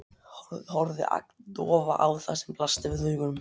Horfði agndofa á það sem blasti við augum.